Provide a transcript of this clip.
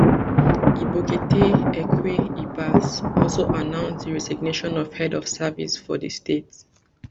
ibokete ekwe ibas also announce di resignation of head of service for di state